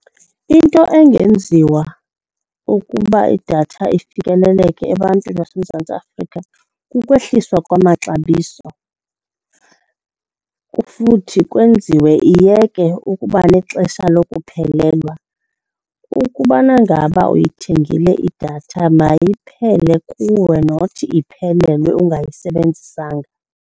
Into engenziwa ukuba idatha ifikeleleke ebantwini baseMzantsi Afrika kukwehliswa kwamaxabiso futhi kwenziwe iyeke ukuba nexesha lokuphelelwa. Ukubana ngaba uyithengile idatha, mayiphele kuwe not iphelelwe ungayisebenzisanga.